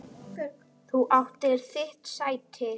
Þú áttir þitt sæti.